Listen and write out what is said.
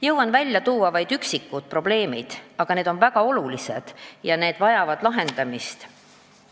Jõuan välja tuua vaid üksikud probleemid, aga need on väga olulised ja vajavad lahendamist.